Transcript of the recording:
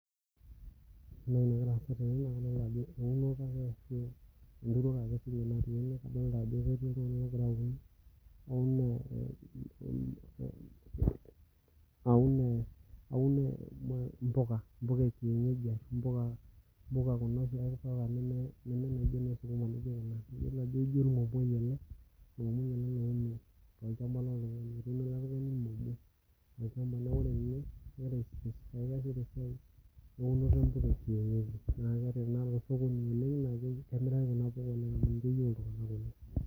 Ore entoki nagira aasa tene naa idol ajo enturore ake siininye natii ene. Idolita ajo ketii entoki nagira aun hoo naaaa eeem aun eeee aun e mpuka, mpuka e kienyeji ashuu impuka kuna shiake mpuka anijio kuna enidol ijio ormomoi oleng naa oshi naaun tolchamba loltungani. Iyasita esia eunoto empuka ekienyeji niaku ore enaa tosokoni oleng naa Kemirai kuna puka oleng amuu keyieu iltunganak oleng